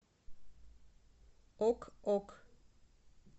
ок ок